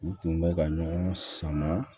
U tun bɛ ka ɲɔgɔn sama